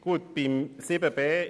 Kommissionspräsident der FiKo.